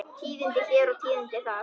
Tíðindi hér og tíðindi þar.